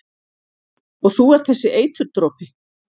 Og þú ert þessi eiturdropi?